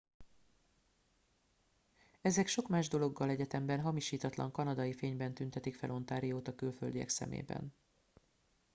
ezek sok más dologgal egyetemben hamisítatlan kanadai fényben tüntetik fel ontariót a külföldiek szemében